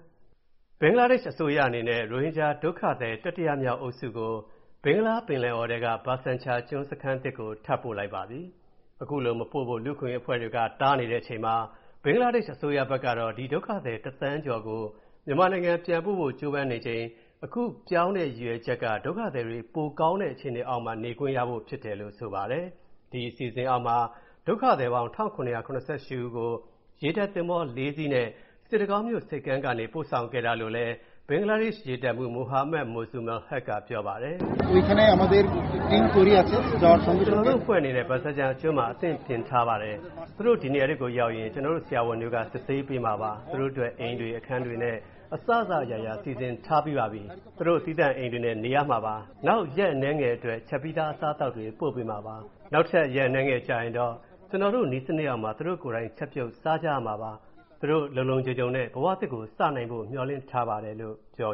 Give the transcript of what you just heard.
ဘင်္ဂလာဒေ့ရှ်အစိုးရအနေနဲ့ ရိုဟင်ဂျာဒုက္ခသည် တတိယမြောက်အုပ်စုကို ဘင်္ဂလားပင်လယ်အော်ထဲက Bhasan Char ကျွန်း စခန်းသစ်ကို ထပ်ပို့လိုက်ပါပြီ။ အခုလိုမပို့ဖို့ လူ့အခွင့်အရေးအဖွဲ့တွေ တားနေတဲ့အချိန်မှာ ဘင်္ဂလားဒေ့ရှ်အစိုးရဘက်ကတော့ ဒီဒုက္ခသည် ၁,၀၀၀,၀၀၀ ကျော်ကို မြန်မာနိုင်ငံပြန်ပို့ဖို့ ကြိုးပမ်းနေချိန် အခုပြောင်းတဲ့ရည်ရွယ်ချက်က ဒုက္ခသည်တွေ ပိုကောင်းတဲ့ အခြေအနေအောက်မှာ နေခွင့်ရဖို့ဖြစ်တယ်လို့ ဆိုပါတယ်။ ဒီ အစီအစဉ်အောက်မှာ ဒုက္ခသည်ပေါင်း ၁,၇၇၈ ဦးကို ရေတပ်သင်္ဘော ၄ စီးနဲ့ စစ်တကောင်းမြို့ဆိပ်ကမ်းကနေ ပို့ဆောင်ခဲ့တာလို့လည်း ဘင်္ဂလားဒေ့ရှ် ရေတပ်တပ်မှူး Mohammad Mozammel Haque က ပြောပါတယ်။ “ကျနော်တို့အဖွဲ့အနေနဲ့ Bhasan Char ကျွန်းမှာ အသင့်ပြင်ထားပါတယ်။ သူတို့ ဒီနေ့ အဲ့ဒီကိုရောက်ရင် ကျနော်တို့ ဆရာဝန်တွေက စစ်ဆေးပေးမှာပါ။ သူတို့အတွက် အိမ်တွေ၊ အခန်းတွေနဲ့ အစစအရာရာ စီစဉ်ထားပြီးပါပြီ။ သူတို့ သီးသန့်အိမ်တွေနဲ့ နေရမှာပါ။ နောက် ရက်အနည်းငယ်အတွင်းမှာ ချက်ပြီးသား အစားအသောက်တွေ ပို့ပေးမှာပါ။ နောက်ရက်အနည်းငယ်ကြာရင် ကျနော်တို့ နည်းစနစ်အောက်မှာ သူတို့ကိုယ်တိုင် ချက်ပြုတ်စားကြမှာပါ။ သူတို့ လုံလုံခြုံခြုံနဲ့ ဘဝသစ်ကို စနိုင်ဖို့ မျှော်လင့်ထားပါတယ်။” လို့ပြော